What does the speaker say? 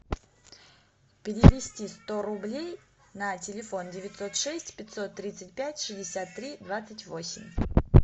перевести сто рублей на телефон девятьсот шесть пятьсот тридцать пять шестьдесят три двадцать восемь